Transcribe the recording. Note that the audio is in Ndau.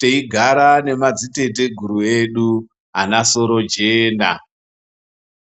teigara nemadziteteguru edu ana sorojena.